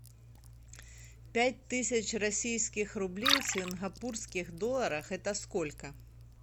пять тысяч российских рублей в сингапурских долларах это сколько